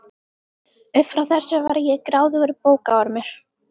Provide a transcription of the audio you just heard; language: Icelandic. Upp frá þessu var ég gráðugur bókaormur.